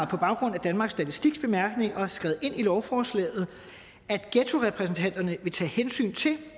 på baggrund af danmarks statistiks bemærkninger har skrevet ind i lovforslaget at ghettorepræsentanterne vil tage hensyn til